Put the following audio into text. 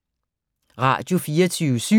Radio24syv